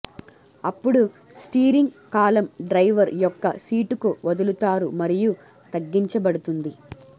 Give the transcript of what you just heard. అప్పుడు steering column driver యొక్క సీటుకు వదులుతారు మరియు తగ్గించబడుతుంది